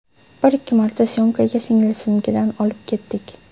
Bir-ikki marta syomkaga singlisinikidan olib ketdik.